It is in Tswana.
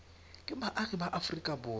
ke baagi ba aforika borwa